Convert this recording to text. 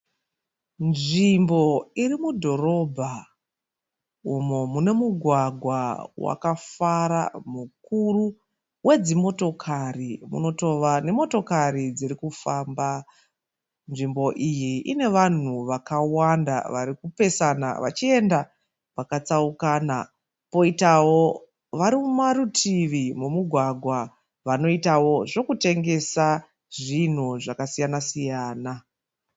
Nzvimbo iri mudhorobha umu munomugwagwa mukuru wakafara mukuru wedzimotokari unotova nemotokari dziri kufamba. Nzvimbo iyi ine vanhu vakawanda vari kupesana vachienda kwakatsaukana poitavo vari mumativi momugwagwa vanoitawo zvokutengesa zvinhu zvakasiyana siyana.